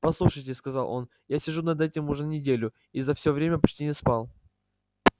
послушайте сказал он я сижу над этим уже неделю и за все время почти не спал